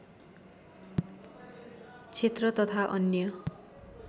क्षेत्र तथा अन्य